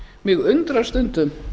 mig undrar stundum